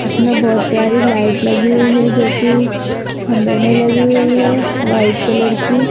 इसमें बहोत प्यारी लाइट लगी हुई है जो की खंभे में लगी हुई है वाइट कलर की--